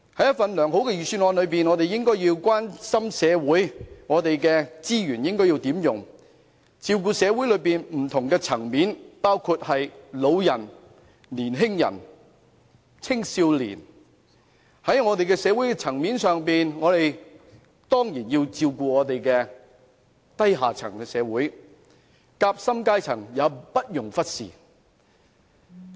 一份良好的預算案，應該關心社會上資源如何運用，照顧社會的不同層面，包括長者和青少年，當然亦要照顧低下階層，而夾心階層也不容忽視。